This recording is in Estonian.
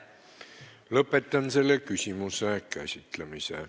Lõpetan selle küsimuse käsitlemise.